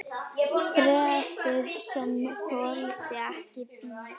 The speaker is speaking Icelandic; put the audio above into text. Bréfið, sem þoldi ekki bið